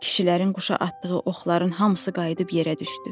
Kişilərin quşa atdığı oxların hamısı qayıdıb yerə düşdü.